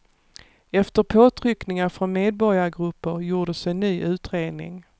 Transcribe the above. Efter påtryckningar från medborgargrupper gjordes en ny utredning.